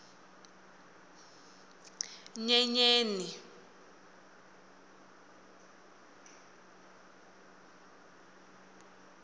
nyenyeni